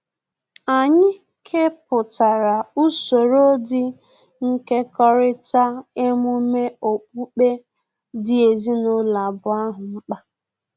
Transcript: Anyị kepụtara usoro dị nkekọrịta emume okpukpe dị ezinụlọ abụọ ahụ mkpa